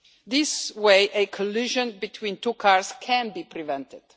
This way, a collision between two cars can be prevented.